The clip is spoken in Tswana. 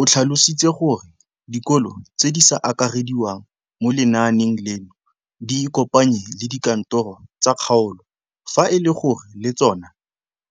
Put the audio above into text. O tlhalositse gore dikolo tse di sa akarediwang mo lenaaneng leno di ikopanye le dikantoro tsa kgaolo fa e le gore le tsona